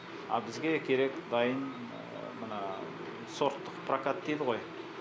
а бізге керек дайын мына сорттық прокат дейді ғой